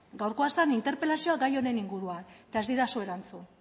gaurko zen interpelazioa gai honen inguruan eta ez didazu erantzun